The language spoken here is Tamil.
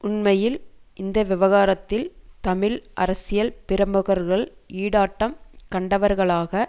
உண்மையில் இந்த விவகாரத்தில் தமிழ் அரசியல் பிரமுகர்கள் ஈடாட்டம் கண்டவர்களாக